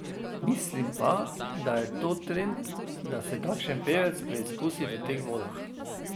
Mislim pa, da je to trend, da se kakšen pevec preizkusi v teh vodah.